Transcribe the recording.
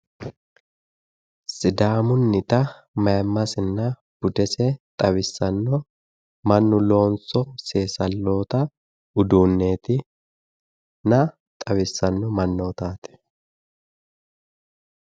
Sidaamunnita maayiimmasinna budese xawissanno mannu loosino seesalloota uduuneetinna xawissanno mannootaati.